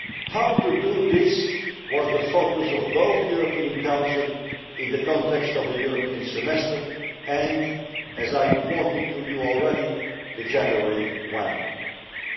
How to do this was the focus of both the European Council, in the context of the European Semester, and, as I reported to you already, the one in January.